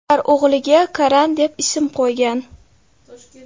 Ular o‘g‘liga Karan deb ism qo‘ygan.